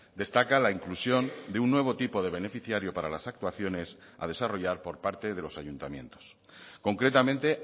destaca la inclusión de un nuevo tipo de beneficiario para las actuaciones a desarrollar por parte de los ayuntamientos concretamente